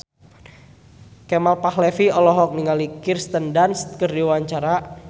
Kemal Palevi olohok ningali Kirsten Dunst keur diwawancara